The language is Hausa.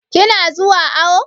Ki na zuwa awo?